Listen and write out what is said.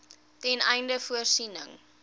ten einde voorsiening